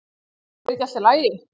er ekki allt í lagi?